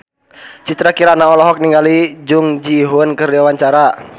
Citra Kirana olohok ningali Jung Ji Hoon keur diwawancara